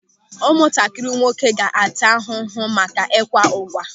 Ụmụntakịrị nwoke ga-ata n'ahụhụ maka ịkwa ụ̀gwa.